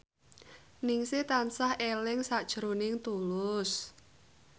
Ningsih tansah eling sakjroning Tulus